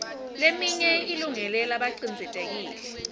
leminye ilungele labacindzetelekile